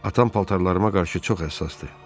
Atam paltarlarıma qarşı çox həssasdır.